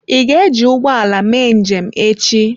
Ị ga-eji ụgbọ ala mee njem echi?